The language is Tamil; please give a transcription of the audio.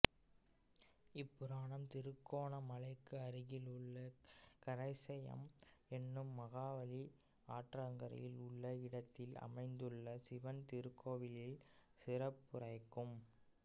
இப்புராணம் திருகோணமலைக்கு அருகில் உள்ள கரைசையம் என்னும் மகாவலி ஆற்றங்கரையில் உள்ள இடத்தில் அமைந்துள்ள சிவன் திருக்கோவிலின் சிறப்புரைக்கும்